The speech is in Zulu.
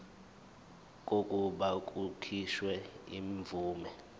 kokuba kukhishwe imvume